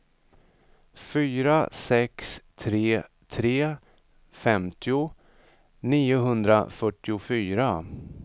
fyra sex tre tre femtio niohundrafyrtiofyra